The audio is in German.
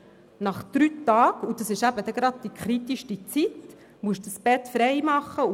Nach drei Tagen – und das ist eben genau die kritischste Zeit – muss das Bett frei gemacht werden.